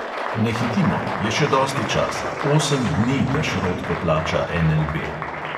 Ne hitimo, je še dosti časa, osem dni, da šrot poplača NLB.